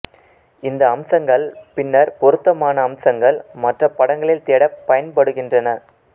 இந்த அம்சங்கள் பின்னர் பொருத்தமான அம்சங்கள் மற்ற படங்களில் தேட பயன்படுகின்றன